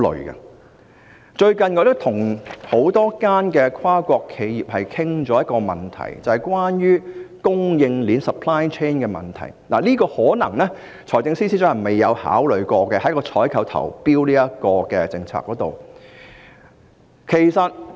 我最近曾與多間跨國企業討論一個問題，也就是關於供應鏈的問題，這可能是財政司司長在採購和投標的政策上未有考慮的。